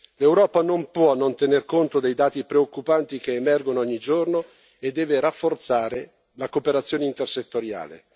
L'Europa non può non tener conto dei dati preoccupanti che emergono ogni giorno e deve rafforzare la cooperazione intersettoriale.